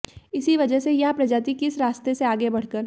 इसी वजह से यह प्रजाति किस रास्ते से आगे बढ़कर